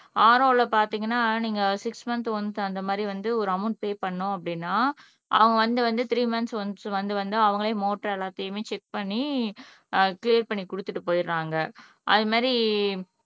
RO ல பாத்தீங்கன்னா நீங்க சிக்ஸ் மந்த் ஒன்ஸ் அந்த மாதிரி வந்து ஒரு அமௌன்ட் பே பண்ணோம் அப்படின்னா அவன் வந்து வந்து த்ரீ மன்த்ஸ் ஒன்ஸ் வந்து வந்து அவங்களே மோட்டார் எல்லாத்தையுமே செக் பண்ணி அஹ் கிளியர் பண்ணி கொடுத்துட்டு போயிடறாங்க அது மாதிரி